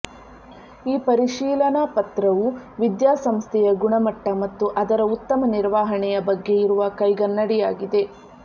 ಈ ಪರಿಶೀಲನ ಪತ್ರವು ವಿದ್ಯಾಸಂಸ್ಥೆಯ ಗುಣಮಟ್ಟ ಮತ್ತು ಅದರ ಉತ್ತಮ ನಿರ್ವಹಣೆಯ ಬಗ್ಗೆ ಇರುವ ಕೈಗನ್ನಡಿಯಾಗಿದೆ